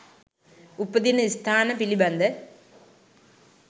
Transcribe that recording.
උපදින ස්ථාන පිළිබඳ